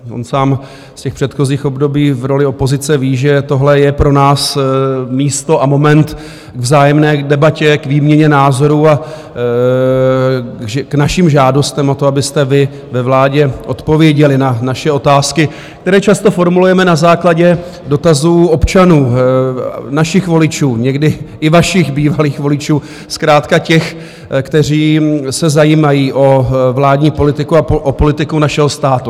On sám z těch předchozích období v roli opozice ví, že tohle je pro nás místo a moment k vzájemné debatě, k výměně názorů a k našim žádostem o to, abyste vy ve vládě odpověděli na naše otázky, které často formulujeme na základě dotazů občanů, našich voličů, někdy i vašich bývalých voličů, zkrátka těch, kteří se zajímají o vládní politiku a o politiku našeho státu.